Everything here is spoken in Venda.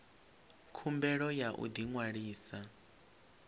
khumbelo ya u ḓi ṅwalisa